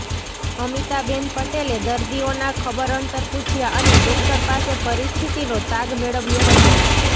અમિતાબેન પટેલે દર્દીઓના ખબરઅંતર પૂછયા અને ડોકટર પાસે પરિસ્થિતિનો તાગ મેળવ્યો હતો